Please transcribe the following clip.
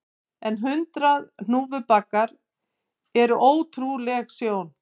En hundrað hnúfubakar eru ótrúleg sjón